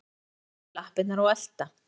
Rola reyndi að standa í lappirnar og elta